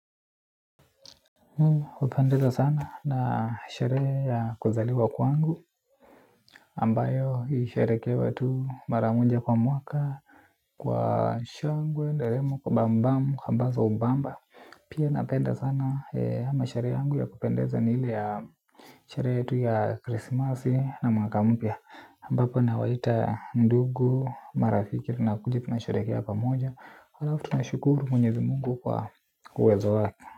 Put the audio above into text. Kupendeza sana na sherehe ya kuzaliwa kwangu ambayo ilisherekewa tu maramoja kwa mwaka. Kwa shangwe ndelemo kwa bambamu kwa mbamba. Pia napenda sana ama sherehe yangu ya kupendeza ni ile ya sherehe yetu ya krisimasi na mwaka mpya aMbapo na waita ndugu marafikiri tunakuja tunaherekea pamoja halafu tuna shukuru mwenyezi mungu kwa uwezo wake.